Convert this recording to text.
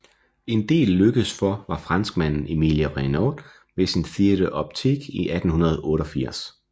En det lykkedes for var franskmanden Emile Reynaud med sin Theâtre Optique i 1888